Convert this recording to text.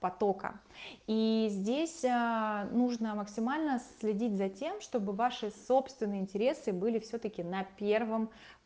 потока и здесь нужно максимально следить за тем чтобы ваши собственные интересы были всё-таки на первом